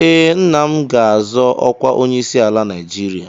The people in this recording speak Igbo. Ee, nna m ga-azọ ọkwa onyeisiala Naijiria.